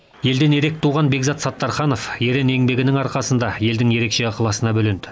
елден ерек туған бекзат саттарханов ерен еңбегінің арқасында елдің ерекше ықыласына бөленді